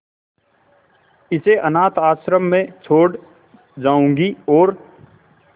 इसे अनाथ आश्रम में छोड़ जाऊंगी और